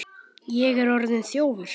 Ég er orðinn þjófur.